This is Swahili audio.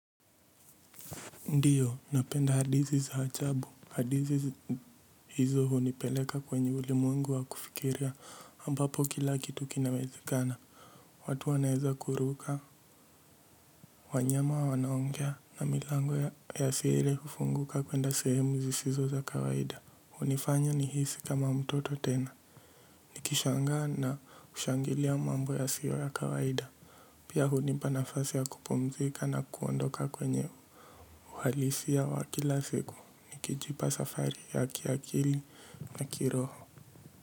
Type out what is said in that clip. Ndiyo, napenda hadithi za ajabu hadithi hizo hunipeleka kwenye ulimwengu wa kufikiria ambapo kila kitu kinawezikana watu wanaweza kuruka wanyama wanaongea, na milango ya siweze kufunguka kwenda sehemu zisizo za kawaida hunifanya nihisi kama mtoto tena nikishangaa na ushangilia mambo ya sio ya kawaida pia hunipa nafasi ya kupumzika na kuondoka kwenye uhalisia wa kila siku nikijipa safari ya kiali na ki kiroho.